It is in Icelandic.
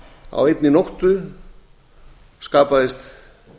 á einni nóttu skapaðist